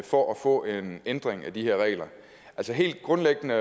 for at få en ændring af de her regler helt grundlæggende